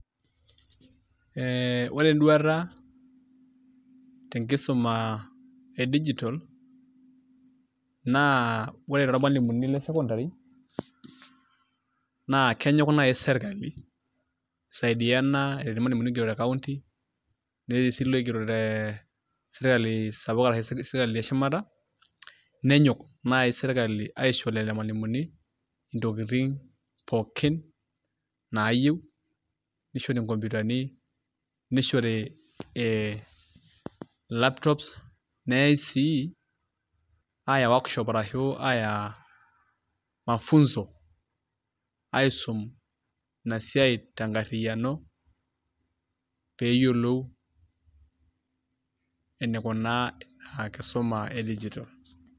ee ore eduata ae te nkisuma e digital naa ore toormalimuni le secondary naa kenyok naaji serkali, isaidian irmalimuni loogero te county betii si iloigero te sirkali sapuk ashu sirkali eshumata, nenyok naji sirkali aisho lelo malimuni intokitin pookin nayieu, nishori nkomputani, nishori laptops neyae sii aaya workshop ashu aaya mafunzo aisum, ina siai tenkariyiano. pee eyiolou enikuna ina kisuma e digital.